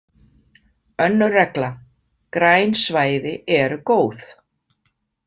Önnur regla: Græn svæði eru góð.